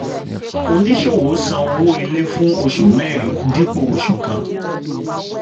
oníṣòwò san owó ilé fún oṣù mẹ́rin dípò oṣù kan.